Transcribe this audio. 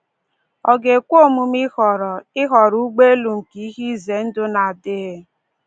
Ọ ga-ekwe omume ịhọrọ ịhọrọ ụgbọelu nke ihe ize ndụ n'adịghị?